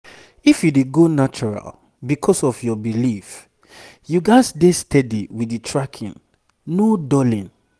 if you dey go natural because of your belief you gats dey steady with the tracking no dulling.